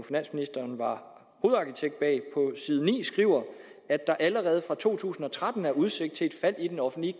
var hovedarkitekt bag om at der allerede fra to tusind og tretten er udsigt til et fald i den offentlige